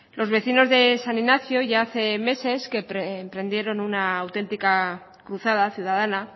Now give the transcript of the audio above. los vecinos de san ignacio ya hace meses que emprendieron una auténtica cruzada ciudadana